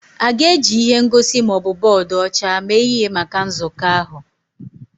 A ga-eji ihe ngosi ma ọ bụ bọọdụ ọcha mee ihe maka nzukọ ahụ?